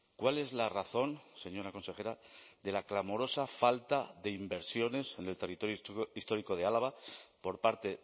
cuál es la razón señora consejera de la clamorosa falta de inversiones en el territorio histórico de álava por parte